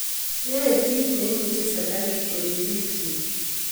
Yae kit neimuchi sirikalit korip piik chik.